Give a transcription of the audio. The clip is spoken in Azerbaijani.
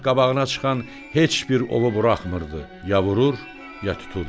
Şah qabağına çıxan heç bir ovu buraxmırdı, ya vurur, ya tuturdu.